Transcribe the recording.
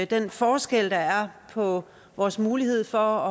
den forskel der er på vores mulighed for